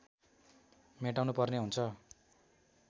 मेटाउनुपर्ने हुन्छ